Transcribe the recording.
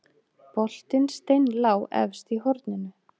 Boltinn steinlá efst í horninu